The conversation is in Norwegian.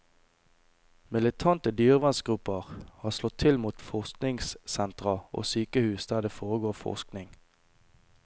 Militante dyrevernsgrupper har slått til mot forskningssentra og sykehus der det foregår forskning.